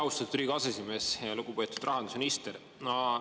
Austatud Riigikogu aseesimees ja lugupeetud rahandusminister!